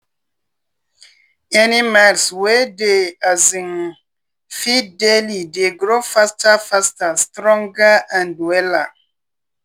animals wey dey um feed daily dey grow faster faster stronger and wella.